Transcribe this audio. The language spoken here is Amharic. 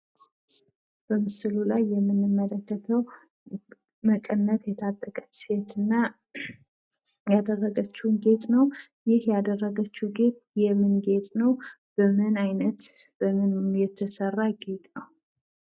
በምስሉ ላይ የምንመለከተው መቀነት የታጠቀች ሴት እና ያደረገችውን ጌጥ ነው። ያደረገችው ጌጥ የምን ጌጥ ነው? ምን አይነት ሆኖ የተሰራ ጌጥ ነው?